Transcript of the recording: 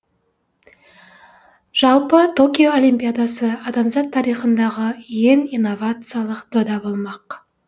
жалпы токио олимпиадасы адамзат тарихындағы ең инновациялық дода болмақ